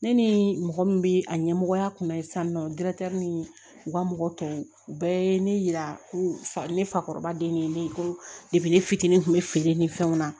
Ne ni mɔgɔ min bɛ a ɲɛmɔgɔya kunna ye sisan nɔ ni u ka mɔgɔ tɔw u bɛɛ ye ne yira ko ne fakɔrɔba den ni ne ko ne fitinin kun bɛ feere ni fɛnw na